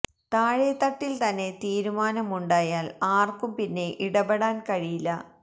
താഴെ തട്ടിൽ തന്നെ തീരുമാനം ഉണ്ടായാൽ ആർക്കും പിന്നെ ഇടപെടാൻ കഴിയില്ല